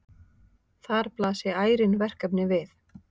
Þar blasi ærin verkefni við.